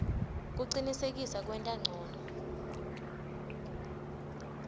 kucinisekisa kuwenta ncono